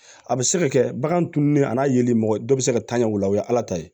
A bɛ se ka kɛ bagan tununnen a n'a yeli mɔgɔ dɔ bɛ se ka taa ɲɛ o la o ye ala ta ye